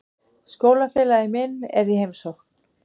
Skólafélagi minn er í heimsókn.